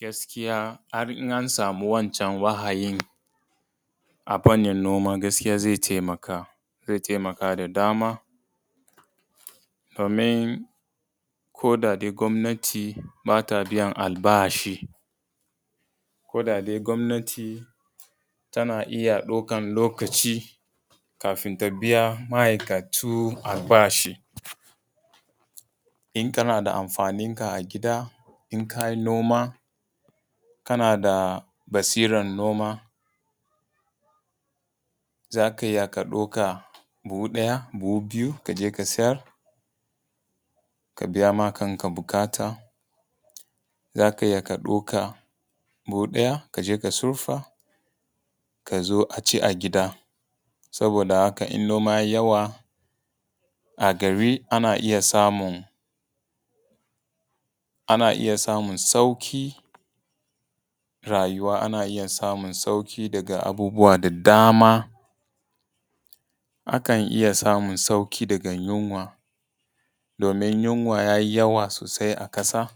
Gaskiya har in an samu wancan wahayin a fannin noma gaskiya zai taimaka da dama domin koda dai gwamnati ba ta biyan albashi, koda dai gwamnati tana iya ɗaukan lokacin kafin ta biya ma'aikatu albashi. In kana da amfaninka a gida, in ka yi noma kana da basiran noma, za ka iya ka ɗauka buhu ɗaya, buhu biyu ka je ka siyar ka biya ma kanka buƙata. Za ka iya ka ɗauka buhu ɗaya ka je ka sirfa ka zo a ci a gida saboda haka in noma ya yi yawa a gari ana iya samun sauƙin rayuwa, ana iya samun sauƙin daga abubuwa da dama, akan iya samu sauƙi daga yinwa, domin yunwa yayi yawa sosai a ƙasa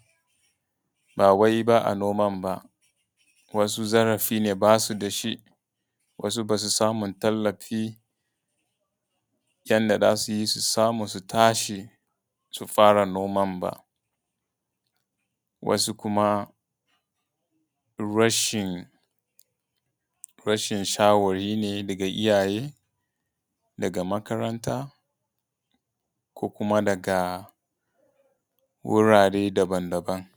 ba wai ba a noman ba, wasu zarafi ne basu da shi, wasu ba su samu tallafi yan da za su yi su samu su tashi su fara noman ba. Wasu kuma rashin shawari ne daga iyaye, daga makaranta ko kuma daga wurare daban daban.